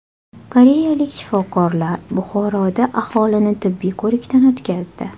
Koreyalik shifokorlar Buxoroda aholini tibbiy ko‘rikdan o‘tkazdi.